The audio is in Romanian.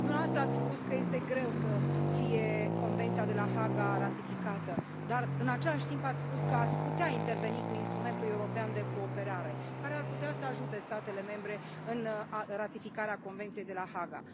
Dumneavoastră ați spus că este greu să fie Convenția de la Haga ratificată, dar în același timp ați spus că ați putea interveni cu instrumentul european de cooperare, care ar putea să ajute statele membre în ratificarea Convenției de la Haga.